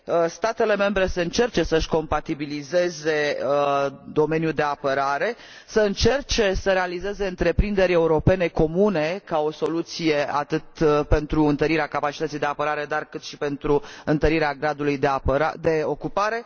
statele membre să încerce să și compatibilizeze domeniul de apărare, să încerce să realizeze întreprinderi europene comune, ca o soluție atât pentru întărirea capacității de apărare, cât și pentru întărirea gradului de ocupare